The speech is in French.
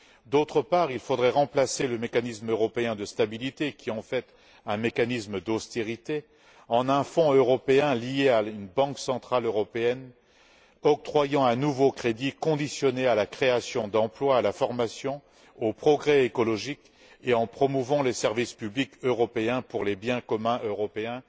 D'autre part, il faudrait remplacer le mécanisme européen de stabilité, qui est en fait un mécanisme d'austérité, par un fonds européen lié à une banque centrale européenne octroyant un nouveau crédit conditionné à la création d'emplois, à la formation, au progrès écologique, et en promouvant les services publics européens pour les biens communs européens